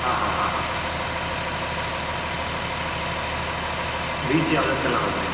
ಹ ಹ ಹ, beach ಯಾವ್ದಕ್ಕೆಲ್ಲ ಹೋದ್ರಿ.